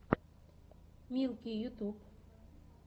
милки ютьюб